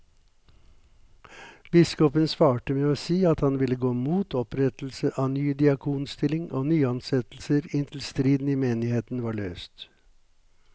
Biskopen svarte med å si at han ville gå mot opprettelse av ny diakonstilling og nyansettelser inntil striden i menigheten var løst.